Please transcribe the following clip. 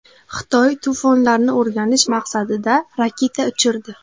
Xitoy to‘fonlarni o‘rganish maqsadida raketa uchirdi.